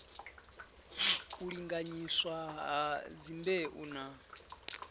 u linganyiswa ha dzimbeu na